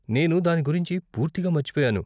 నేను దాని గురించి పూర్తిగా మర్చిపోయాను.